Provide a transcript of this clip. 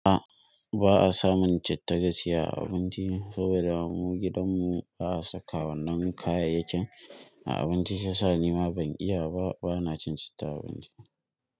A ba a samun citta gaci a abinci saboda mu gidanmu ba a saka wannan kayayyakin a abinci, sha sa ni ma ban iya ba, bana cin citta a abinci.